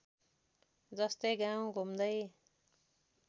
जस्तै गाउँ घुम्दै